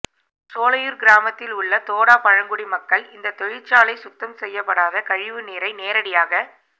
சோலையூர் கிராமத்தில் உள்ள தோடா பழங்குடி மக்கள் இந்த தொழிற்சாலை சுத்தம் செய்ய படாத கழிவு நீரை நேரடியாக